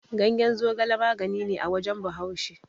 Ganyen zogala magani ne a wajen Bahaushe.